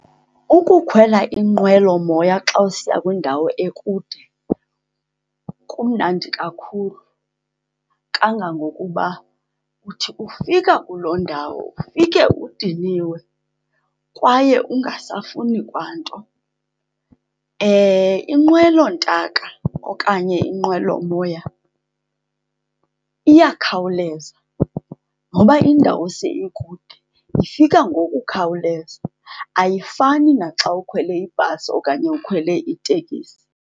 Ukukhwela inqwelomoya xa usiya kwindawo ekude kumnandi kakhulu kangangokuba uthi ufika kuloo ndawo ufike udiniwe kwaye ungasafuni kwa nto. Inqwelontaka okanye inqwelomoya iyakhawuleza noba indawo se ikude ifika ngokukhawuleza, ayifani naxa ukhwele ibhasi okanye ukhwele itekisi.